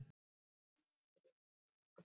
Bertha, hvernig verður veðrið á morgun?